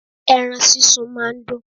Ẹran sísun má a ndùn